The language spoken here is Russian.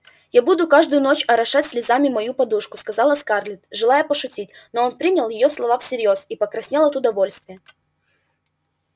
я буду каждую ночь орошать слезами мою подушку сказала скарлетт желая пошутить но он принял её слова всерьёз и покраснел от удовольствия